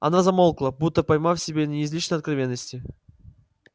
она замолкла будто поймав себя на излишней откровенности